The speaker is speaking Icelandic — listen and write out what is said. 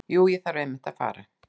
Jú, ég þarf einmitt að fara.